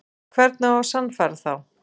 Og hvernig á að sannfæra þá?